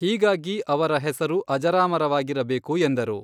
ಹೀಗಾಗಿ ಅವರ ಹೆಸರು ಅಜರಾಮರವಾಗಿರಬೇಕು ಎಂದರು.